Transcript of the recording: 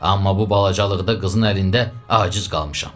Amma bu balacalılıqda qızın əlində aciz qalmışam.